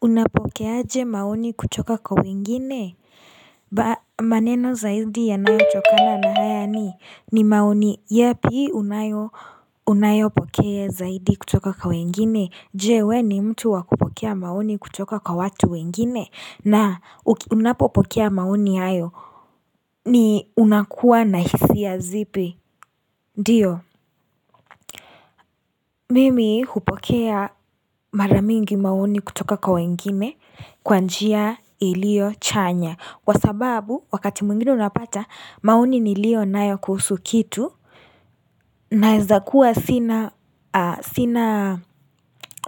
Unapokea aje maoni kutoka kwa wengine? Maneno zaidi yanayo tokana na haya ni? Ni maoni, yapi unayopokea zaidi kutoka kwa wengine? Je we ni mtu wa kupokea maoni kutoka kwa watu wengine? Na, unapopokea maoni hayo? Ni unakuwa na hisia ya zipi? Ndiyo, mimi hupokea mara mingi maoni kutoka kwa wengine? Kwa njia iliyo chanya Kwa sababu wakati mwingine unapata maoni niliyo nayo kuhusu kitu Naweza kuwa sina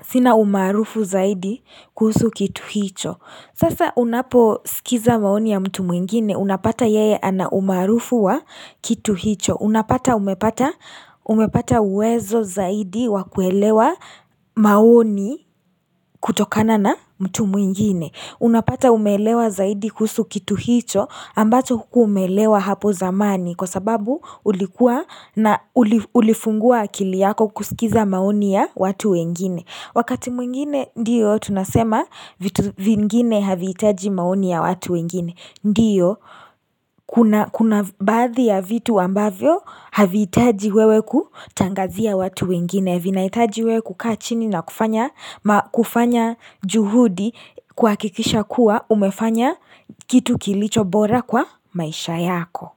sina umaarufu zaidi kuhusu kitu hicho Sasa unaposikiza maoni ya mtu mwingine Unapata yeye ana umaarufu wa kitu hicho Unapata umepata umepata uwezo zaidi wa kuelewa maoni kutokana na mtu mwingine Unapata umeelewa zaidi kuhusu kitu hicho ambacho hukuwa umeelewa hapo zamani kwa sababu ulikuwa na ulifungua akili yako kusikiza maoni ya watu wengine. Wakati mwingine ndiyo tunasema vitu vingine havitaji maoni ya watu wengine. Ndiyo, kuna baadhi ya vitu ambavyo havihitaji wewe kutangazia watu wengine, vinahitaji wewe kukaa chini na kufanya kufanya juhudi kuhakikisha kuwa umefanya kitu kilicho bora kwa maisha yako.